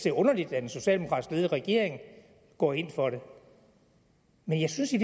er underligt at en socialdemokratisk ledet regering går ind for det men jeg synes i